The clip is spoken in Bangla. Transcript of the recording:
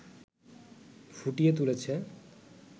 ফুটিয়ে তুলেছে